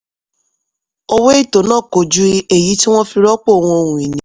owó ètò náà kò ju èyí tí wọ́n fi rọ́pò ohun ìní.